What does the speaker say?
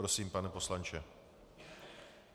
Prosím, pane poslanče.